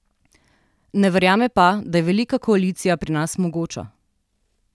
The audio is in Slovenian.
Ne verjame pa, da je velika koalicija pri nas mogoča.